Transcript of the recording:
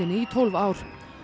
í tólf ár